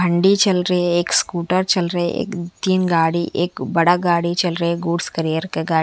भंडी चल रही है एक स्कूटर चल रहे है तीन गाड़ी एक बड़ा गाड़ी चल रही है गुड्स कैरियर का गाड़ी --